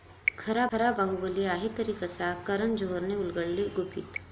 खरा बाहुबली आहे तरी कसा? करण जोहरनं उलगडली गुपितं